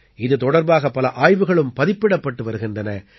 இது தொடர்பாக பல ஆய்வுகளும் பதிப்பிடப்பட்டு வருகின்றன